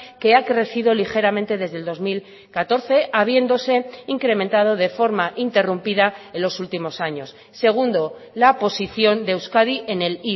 que ha crecido ligeramente desde el dos mil catorce habiéndose incrementado de forma interrumpida en los últimos años segundo la posición de euskadi en el